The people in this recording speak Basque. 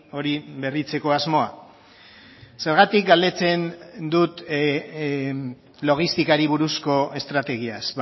hori berritzeko asmoa zergatik galdetzen dut logistikari buruzko estrategiaz